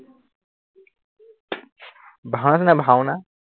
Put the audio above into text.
ভাওনা হৈছে নাই ভাওনা